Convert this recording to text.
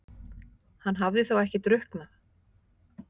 Hann hafði þá ekki drukknað?